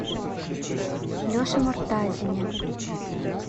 леше муртазине